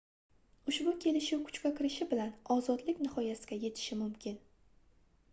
ushbu kelishiv kuchga kirishi bilan ozodlik nihoyasiga yetishi mimkin